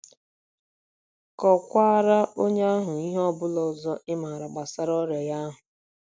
Kọkwaara onye ahụ ihe ọ bụla ọzọ ị ma gbasara ọrịa ya ahụ.